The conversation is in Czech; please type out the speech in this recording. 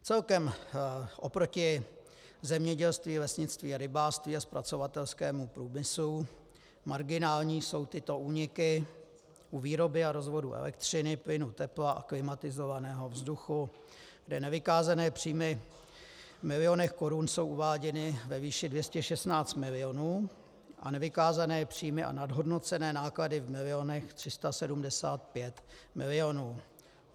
Celkem oproti zemědělství, lesnictví a rybářství a zpracovatelskému průmyslu marginální jsou tyto úniky u výroby a rozvodů elektřiny, plynu, tepla a klimatizovaného vzduchu, kde nevykázané příjmy v milionech korun jsou uváděny ve výši 216 milionů a nevykázané příjmy a nadhodnocené náklady v milionech 375 milionů.